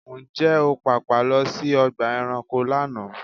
Ǹjẹ́ o pàpà lọ sí ọgbà ẹranko lánàá?